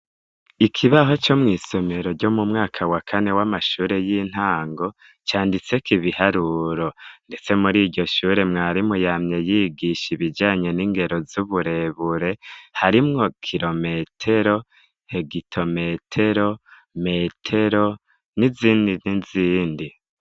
Ikibaho co mw'isomero ryo mu mwaka wakane w'amashure y'intango canditse ko ibiharuro, ndetse muri iryo shure mwarimuyamye yigisha ibijanye n'ingero z'uburebure harimwo kilometero hegitometero metero n'izindi nizindi.